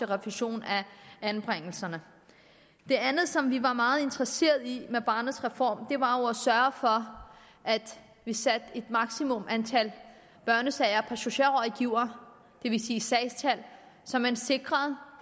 refusion af anbringelserne det andet som vi var meget interesserede i i med barnets reform var jo at sørge for at vi satte et maksimum for antallet af børnesager for socialrådgivere det vil sige sagstal så man sikrede